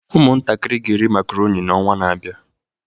Ụmụntakịrị ga-eri makaroni n'ọnwa na-abịa